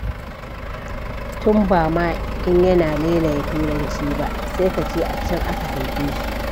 Tun ba ma in yana lailaya Turanci ba! Sai ka ce a can aka haife shi.